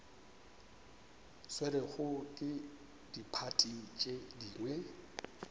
swerwego ke diphathi tše dingwe